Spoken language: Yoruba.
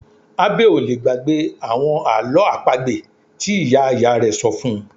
Abbey ò lè gbàgbé àwọn àlọ́ àpagbè tí ìyá ìyá rẹ̀ ṣọ fún -un